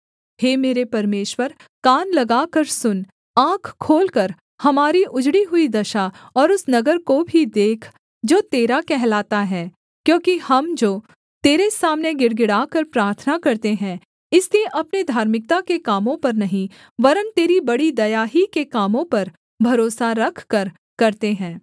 हे मेरे परमेश्वर कान लगाकर सुन आँख खोलकर हमारी उजड़ी हुई दशा और उस नगर को भी देख जो तेरा कहलाता है क्योंकि हम जो तेरे सामने गिड़गिड़ाकर प्रार्थना करते हैं इसलिए अपने धार्मिकता के कामों पर नहीं वरन् तेरी बड़ी दया ही के कामों पर भरोसा रखकर करते हैं